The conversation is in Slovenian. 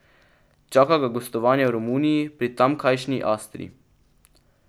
Čaka ga gostovanje v Romuniji pri tamkajšnji Astri.